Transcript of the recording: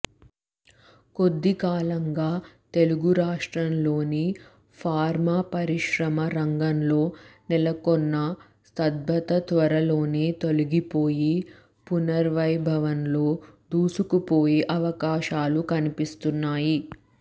కొద్దికాలంగా తెలుగు రాష్ట్రాల్లోని ఫార్మా పరిశ్రమ రంగంలో నెలకొన్న స్తబ్ధత త్వరలో తొలగిపోయి పునర్వైభవంతో దూసుకుపోయే అవకాశాలు కనిపిస్తున్నాయి